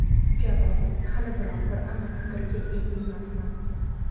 Javob: Hali biror bir aniq fikrga ega emasman.